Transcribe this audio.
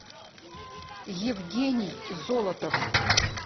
евгений золотов